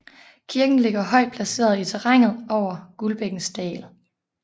Kirken ligger højt placeret i terrænet over Guldbækkens dal